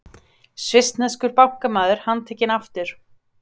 Svissneskur bankamaður handtekinn aftur